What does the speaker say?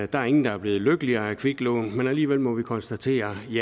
der er ingen der er blevet lykkeligere af kviklån men alligevel må vi konstatere